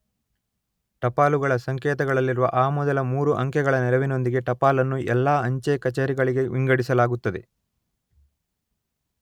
ಟಪಾಲುಗಳ ಸಂಕೇತಗಳಲ್ಲಿರುವ ಆ ಮೊದಲ ಮೂರು ಅಂಕೆಗಳ ನೆರವಿನೊಂದಿಗೆ ಟಪಾಲನ್ನು ಎಲ್ಲಾ ಅಂಚೆ ಕಚೇರಿಗಳಿಗೆ ವಿಂಗಡಿಸಲಾಗುತ್ತದೆ.